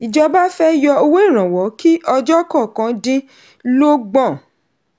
ìjọba fẹ́ yọ owó ìrànwọ́ kí ọjọ́ kọọkan dín lógbọ̀n.